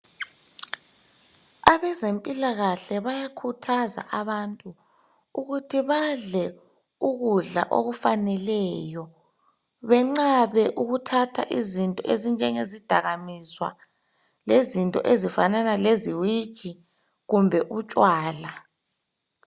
Abezempilakahle bayakhuthaza abantu. Ukuthi badle ukudla okufaneleyo. Benqabe ukuthatha izinto ezifana, lezidakamizwa. Lezinto ezifana leziwiji, kumbe utshwala.